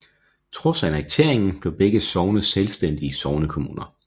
Trods annekteringen blev begge sogne selvstændige sognekommuner